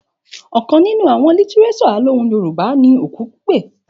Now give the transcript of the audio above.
Òkan nínú àwon lítírésò alohùn Yorùbá ni Òku Pípè